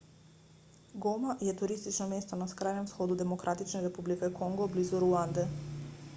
goma je turistično mesto na skrajnem vzhodu demokratične republike kongo blizu ruande